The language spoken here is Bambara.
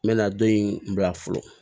N bɛ na don in bila fɔlɔ